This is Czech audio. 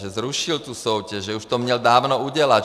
Že zrušil tu soutěž, že už to měl dávno udělat.